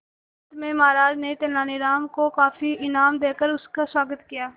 अंत में महाराज ने तेनालीराम को काफी इनाम देकर उसका स्वागत किया